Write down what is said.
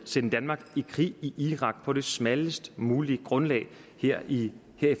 at sende danmark i krig i irak på det smallest mulige grundlag her i